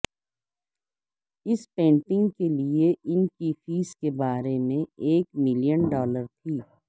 اس painting کے لئے ان کی فیس کے بارے میں ایک ملین ڈالر تھی